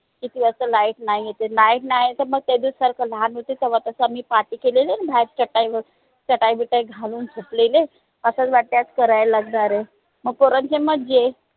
किती वाजता light नई येते light नई आले तर मग त्या दवशी सारखं केलेले ना बाहेर चटाई वर चटाई बिटाई घूं बसलेले करावं लागणार आहे मग पोरांची मज्जा आहे.